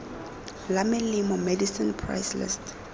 la melemo medicine price list